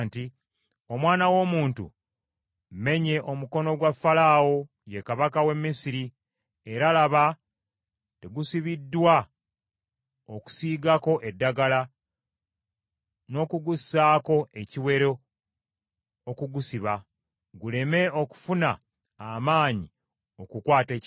“Omwana w’omuntu, mmenye omukono gwa Falaawo, ye kabaka w’e Misiri, era laba tegusibiddwa okusiigako eddagala, n’okugussaako ekiwero okugusiba, guleme okufuna amaanyi okukwata ekitala.